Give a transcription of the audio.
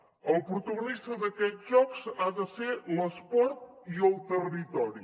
el protagonista d’aquests jocs ha de ser l’esport i el territori